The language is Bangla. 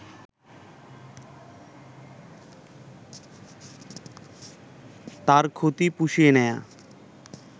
তার ক্ষতি পুষিয়ে নেয়া